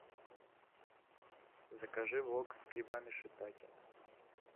закажи вок с грибами шиитаке